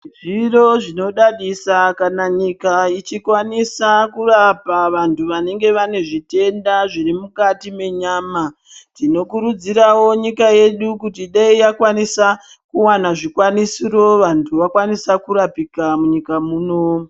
Zviro zvinodadisa kana nyika ichikwanisa kurapa vantu vanenga vane zvitenda zviri mukati mwenyama tinokurudzirawo nyika yedu kuti dai yakwanisa kuwana zvikwanisiro vantu vqkwanisa kurapika munyika muno.